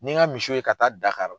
N'i ye n ka misi ye ka taa Dakari